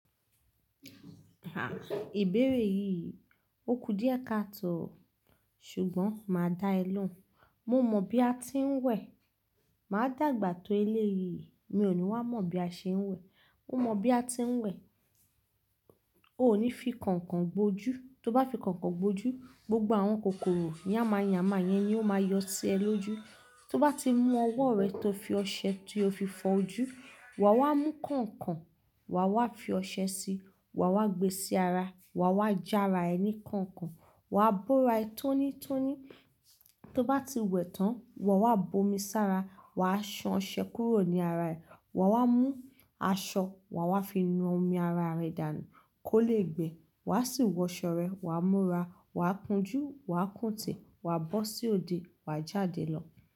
A! Ìbéèrè yìí, ó kù díẹ̀ káàtò. Ṣùgbọ́n máa dá ẹ lóhùn. Mo mọ̀ bí a ti ń wẹ̀. Máa dàgbà tó eléyi, mí ò ní wá mọ̀ bí a ṣe ń wẹ̀. Mo mọ bí a ti ń wẹ̀. O ò ní fi kọ̀nkọ̀n gbo ojú. Tó bá fi kọ̀nkọ̀n bo ojú, gbogbo àwọn kòkòrò yàmáyàmá yẹn ni ó máa yọ sí ẹ lójú. Tó bá ti mú ọwọ́ rẹ tó fi ọṣẹ tí o fi fọ ojú, wà wá mú kọ̀nkọ̀n, wà wá fi ọṣẹ síi, wà wá gbe sí ara, wà wá já ara ẹni kọ̀nkọ̀n, wà á bóra ẹ tónítóní. Tó bá ti wẹ̀ tán, wà wá bomi sára, wà á san ọṣẹ kúrò ní ara ẹ. Wà wá mú aṣọ, wà wá fi nu omi ara rẹ dànù kó lè gbẹ. Wà á sì wọ̀ṣọ̀ rẹ, wà á múra, wà á kun jú, wà á kùnte, wà á bọ́ sí òde, wà á jáde lọ.